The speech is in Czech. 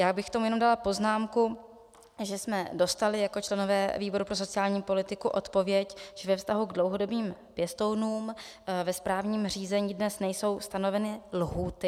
Já bych k tomu jenom dala poznámku, že jsme dostali jako členové výboru pro sociální politiku odpověď, že ve vztahu k dlouhodobým pěstounům ve správním řízení dnes nejsou stanoveny lhůty.